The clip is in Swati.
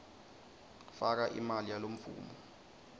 faka imali yalemvumo